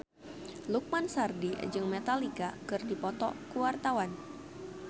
Lukman Sardi jeung Metallica keur dipoto ku wartawan